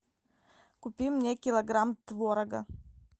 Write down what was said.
купи мне килограмм творога